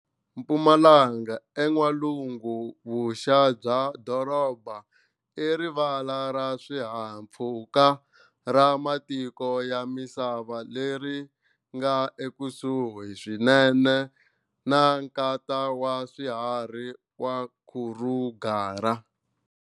Mpumalanga, en'walungu-vuxa bya doroba, i rivala ra swihahampfhuka ra matiko ya misava leri nga ekusuhi swinene na Nkata wa Swiharhi wa Kruger.